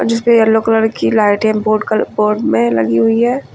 जिसपे yellow colour की लाइटें बोड कल बोड में लगी हुई है।